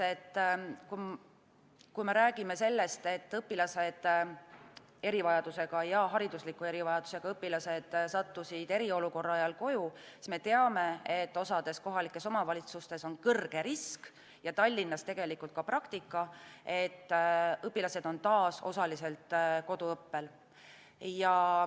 Kui me räägime sellest, et õpilased, erivajadusega ja haridusliku erivajadusega õpilased, sattusid eriolukorra ajal koju, siis me teame, et osades kohalikes omavalitsustes on kõrge risk, ja Tallinnas tegelikult ka praktika, et õpilased on taas osaliselt koduõppel.